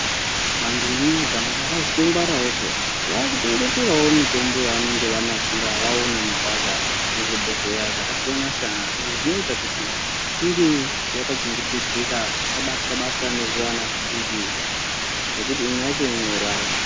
Vantu vemumuganga vatozongwarawo peya vakungeterawo mitombo yavanenge vanasira vaona mubhahla muzvibhodhlera zvakasiyana-siyana, izvi zvinoita kuti inge yakachengetedzeka isabatwa-batwa nezvivana zvidiki nekuti imwe yacho inouraya.